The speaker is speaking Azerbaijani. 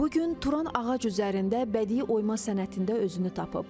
Bu gün Turan ağac üzərində bədii oyma sənətində özünü tapıb.